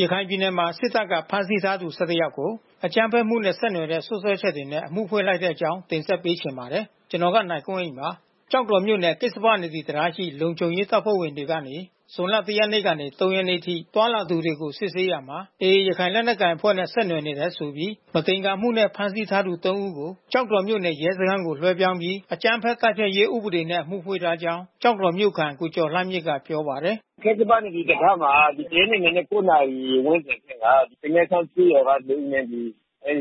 ရခိုင်ပြည်နယ်မှာ စစ်တပ်က ဖမ်းဆီးထားသူ ၁၁ ယောက်ကို အကြမ်းဖက်မှုနဲ့ ဆက်နွယ်တဲ့ စွပ်စွဲချက်တွေနဲ့ အမှုဖွင့်လိုက်တဲ့အကြောင်းကို ဗွီအိုအေမြန်မာပိုင်းသတင်းထောက် ကိုနိုင်ကွန်းအိန်က တင်ဆက်ပေးပါမယ်။ ကျောက်တော်မြို့နယ် ကစ္စပနဒီတံတားရှိ လုံခြုံရေးတပ်ဖွဲ့ဝင်တွေကနေ ဇူလိုင်လ ၁ ရက်နေ့ကနေ ၃ ရက်နေ့အထိ သွားလာသူတွေကို စစ်ဆေးရာမှာ AA ရခိုင်လက်နက်ကိုင်အဖွဲ့နဲ့ ဆက်နွယ်တယ်ဆိုပြီး မသင်္ကာမှုနဲ့ ဖမ်းဆီးထားသူ ၃ ဦးကို ကျောက်တော်မြို့နယ် ရဲစခန်းကို လွှဲပြောင်းပြီး အကြမ်းဖက်မှု တိုက်ဖျက်ရေး ဥပဒေနဲ့ အမှုဖွင့်ထားကြောင်း ကျောက်တော်မြို့ခံကိုကျော်လှမြင့်ကပြောပါတယ်။ “ကစ္စပနဒီတံတားမှာ ၁ ရက်နေ့ မနက် ၉ နာရီဝန်းကျင်ထဲမှာ ပိန္နဲချောင်းကျေးရွာသား ၂ ဦးနဲ့ အဲဒီ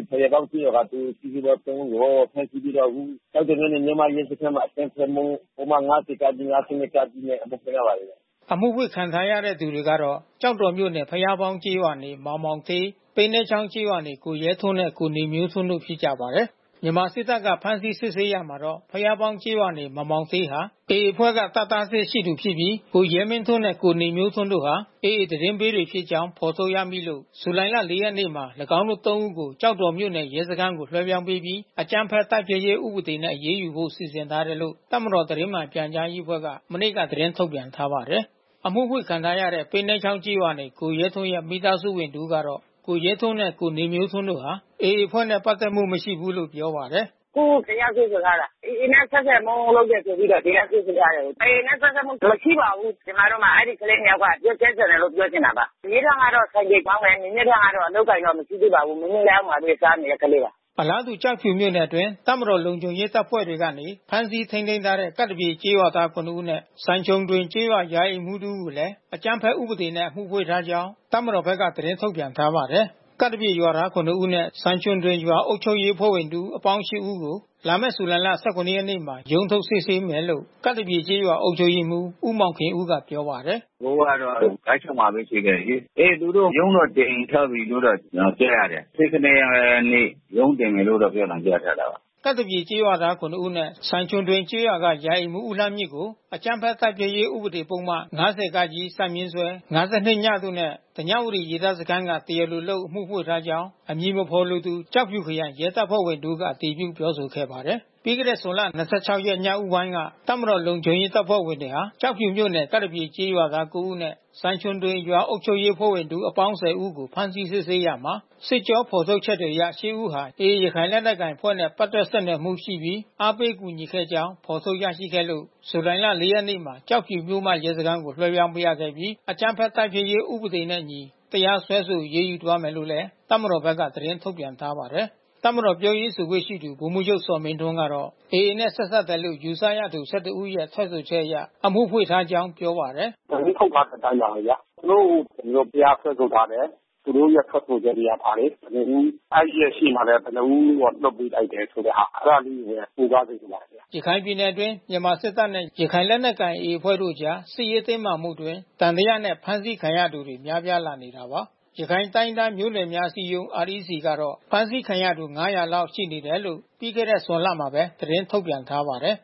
ဘုရားပေါင်းကျေးရွာက တဦး သူတို့ ၃ ဦးကို ဖမ်းဆီးပြီးတော့ ကျောက်တော်မြို့မရဲစခန်းမှာ အကြမ်းဖက်မှု ပုဒ်မ ၅၀ ၊ ၅၂ နဲ့ အမှုဖွင့်ထားပါတယ်ဗျ။” အမှုဖွင့်ခံထားရသူတွေကတော့ ကျောက်တော်မြို့နယ် ဘုရားပေါင်းကျေးရွာနေ မောင်မောင်ဌေး ပိန္နဲချောင်းကျေးရွာနေ ကိုရဲထွန်းနဲ့ ကိုနေမျိုးထွန်းတို့ ဖြစ်ကြပါတယ်။ မြန်မာစစ်တပ်က ဖမ်းဆီးစစ်ဆေးရာမှာတော့ ဘုရားပေါင်းကျေးရွာနေ မောင်မောင်ဌေးဟာ AA အဖွဲ့က တပ်သား အဆင့်ရှိသူဖြစ်ပြီး ကိုရဲထွန်းနဲ့ ကိုနေမျိုးထွန်းတို့ဟာ AA သတင်းပေးတွေဖြစ်ကြောင်း ဖော်ထုတ်ရမိလို့ ဇူလိုင် ၄ ရက်မှာ ၎င်းတို့ ၃ ဦးကို ကျောက်တော်မြို့နယ် ရဲစခန်းသို့ လွှဲပြောင်းပေးပြီး အကြမ်းဖက်မှု တိုက်ဖျက်ရေး ဥပဒေနဲ့ အရေးယူဖို့ စီစဉ်ထားတယ်လို့ တပ်မတော်သတင်းမှန်ပြန်ကြားရေးအဖွဲ့က မနေ့က သတင်းထုတ်ပြန်ထားပါတယ်။ အမှုဖွင့်ခံထားရတဲ့ ပိန္နဲချောင်းကျေးရွာနေ ကိုရဲထွန်းရဲ့ မိသားစုဝင် တဦးကတော့ ကိုရဲထွန်းနဲ့ ကိုနေမျိုးထွန်းတို့ဟာ AA အဖွဲ့နဲ့ ပက်သက်မှု မရှိဘူးလို့ ပြောပါတယ်။ “အခုတရားစွဲဆိုထားတာ။ AA နဲ့ ဆက်ဆံမှု လုပ်တယ်ဆိုပြီး တရားစွဲဆိုထားတယ်။ AA နဲ့ ဆက်စပ်မှု မရှိပါဘူး။ ကျမတို့မှာ အဲဒီကလေးနှစ်ယောက်က အပြစ်ကင်းစင်တယ်လို့ ပြောချင်ပါတယ်။ ရဲထွန်းကတော့ ဆိုင်ကယ်မောင်းတယ်။ နေမျိုးထွန်းကတော့ အလုပ်အကိုင်တော့ မရှိသေးပါဘူး။ မရီးအနားမှာပဲ စားနေတဲ့ကလေးပါ။” အလားတူ ကျောက်ဖြူမြို့နယ်၊ အတွင်း တပ်မတော်လုံခြုံရေးတပ်ဖွဲ့တွေကနေ ဖမ်းဆီးထိန်းသိမ်းထားတဲ့ ကပ်သပြေ ကျေးရွာသား ၇ ဦးနဲ့ စိုင်ခြုံကျေးရွာ ရာအိမ်မှူးတဦးကိုလည်း အကြမ်းဖက်ဥပဒေနဲ့ အမှုဖွင့်ထားကြောင်း တပ်မတော်ဘက်က သတင်းထုတ်ပြန်ထားပါတယ်။ ကပ်သပြေရွာသား ၇ ဦးနဲ့ စိုင်ခြုံဒွိန်ရွာအုပ်ချုပ်ရေးအဖွဲ့ဝင် တဦး အပေါင်း ၈ ဦးကို လာမယ့် ဇူလိုင်လ ၁၇ နေ့မှာ ရုံးထုတ် စစ်ဆေးမယ်လို့ ကပ်သပြေကျေးရွာအုပ်ချုပ်ရေးမှူး ဦးမောင်ခင်ဦးက ပြောပါတယ်။ “သူတို့ကတော့ ဂတ်အချုပ်မှာပဲ ရှိတယ်လေ။ အဲသူတို့ ရုံးတော့ ချိန်းထားပြီးလို့ ပြောတာ ကျနော် ကြားရတယ်။ ၁၇ ရက်နေ့ ရုံးတင်မယ်လို့တော့ ပြောသံကြားထားတယ်။” ကပ်သပြေကျေးရွာသား ၇ ဦးနဲ့စိုင်ခြုံဒွိန်ကျေးရွာမှ ရာအိမ်မှူးဦးလှမြင့်ကို အကြမ်းဖက်မှုတိုက်ဖျက်ရေး ဥပဒေပုဒ်မ ၅၀ ၊ ၅၂ တို့နဲ့ ဓညဝတီရေတပ်စခန်းက တရားလိုလုပ် အမှုဖွင့်ထားကြောင်း အမည်မဖော်လိုသူ ကျောက်ဖြူခရိုင် ရဲတပ်ဖွဲ့ဝင်တဦးက အတည်ပြုပြောဆိုခဲ့ပါတယ်။ ပြီးခဲ့တဲ့ ဇွန်လ ၂၆ ရက် ညဦးပိုင်းက တပ်မတော်လုံခြုံရေးတပ်ဖွဲ့ဝင်တွေဟာ ကျောက်ဖြူမြို့နယ်၊ ကပ်သပြေကျေးရွာသား ၉ ဦးနဲ့ စိုင်ခြုံဒွိန်ရွာအုပ်ချုပ်ရေးအဖွဲ့ဝင် တဦးအပေါင်း ၁၀ ဦးကို ဖမ်းဆီးစစ်ဆေးရာမှာ စစ်ကြော ဖော်ထုတ်ချက်တွေအရ ၈ ဦးဟာ AA ရခိုင်လက်နက်ကိုင်အဖွဲ့နဲ့ ပတ်သက် ဆက်နွယ်မှုရှိပြီး အားပေးကူညီခဲ့ကြောင်း ဖော်ထုတ်ရရှိခဲ့လို့ ဇူလိုင်လ ၄ ရက်မှာ ကျောက်ဖြူမြို့မ ရဲစခန်း ကိုလွှဲပြောင်း ပေးအပ်ခဲ့ပြီး အကြမ်းဖက်မှုတိုက်ဖျက်ရေးဥပဒေနှင့်အညီ တရားစွဲဆို အရေးယူသွားမယ်လို့ တပ်မတော်ကလည်း သတင်းထုတ်ပြန်ထားပါတယ်။ တပ်မတော်ပြောရေးဆိုခွင့်ရှိသူ ဗိုလ်မှူးချုပ်ဇော်မင်းထွန်းကတော့ AA နဲ့ ဆက်စပ်တယ်လို့ ယူဆရသူ ၁၁ ဦးရဲ့ ထွက်ဆိုချက်အရ အမှုဖွင့်ထားကြောင်း ပြောပါတယ်။ “သတင်းထုတ်ထားတဲ့အတိုင်းပါပဲဗျာ။ သူတို့ကို ကျနော်တို့ တရားစွဲဆိုထားတယ်။ သူတို့ရဲ့ ထွက်ဆိုချက်ရထားတယ် ဘယ်နှစ်ဦး။ အဲဒီရဲ့ရှေ့မှာလည်း ဘယ်နှစ်ဦးတော့ လွှတ်ပေးလိုက်တယ်ဆိုတဲ့ဟာ။ အဲတာလေးတွေပဲ ကိုးကားစေချင်ပါတယ်ဗျ။” ရခိုင်ပြည်နယ်အတွင်း မြန်မာစစ်တပ်နဲ့ ရခိုင်လက်နက်ကိုင် AA အဖွဲ့တို့အကြား စစ်ရေးတင်းမာမှုအတွင်း သံသယနဲ့ ဖမ်းဆီးခံရသူတွေ များပြားလာနေတာပါ။ ရခိုင်တိုင်းရင်းသားမျိုးနွယ်များ အစည်းအရုံး REC ကတော့ ဖမ်းဆီးခံရသူ ၅၀၀ လောက် ရှိနေတယ်လို့ ပြီးခဲ့တဲ့ ဇွန်လမှာပဲ သတင်းထုတ်ပြန်ထားပါတယ်